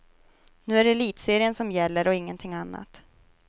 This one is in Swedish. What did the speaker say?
Nu är det elitserien som gäller och ingenting annat.